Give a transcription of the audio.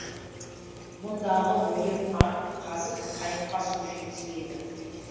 мұндағы ойым арық қазып қайыққа су жеткізу еді